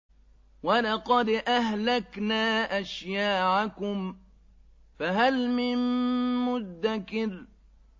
وَلَقَدْ أَهْلَكْنَا أَشْيَاعَكُمْ فَهَلْ مِن مُّدَّكِرٍ